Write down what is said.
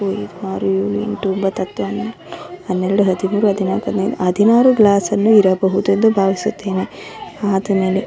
ಆರು ಏಳು ಎಂಟು ಒಂಭತ್ತು ಹತ್ತು ಹನ್ನೊಂದು ಹನ್ನೆರಡು ಹದಿಮೂರು ಹದಿನಾಕು ಹದಿನೈದು ಹದಿನಾರು ಗ್ಲಾಸನ್ನು ಇರಬಹುದೆಂದು ಭಾವಿಸುತ್ತೇನೆ ಆದಮೇಲೆ.